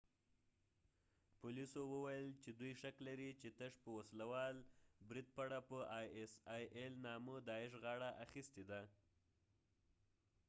پولیسو وویل چې دوی شک لري چې تش په نامه داعش isil وسله وال د بريد پړه پر غاړه اخیستې ده